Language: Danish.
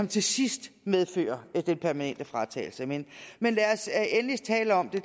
til sidst medfører den permanente fratagelse men men lad os endelig tale om det